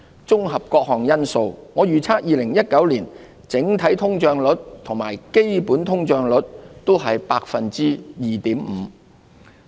綜合各項因素，我預測2019年整體通脹率與基本通脹率均為 2.5%。